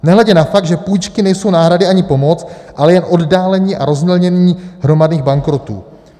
Nehledě na fakt, že půjčky nejsou náhrady ani pomoc, ale jen oddálení a rozmělnění hromadných bankrotů...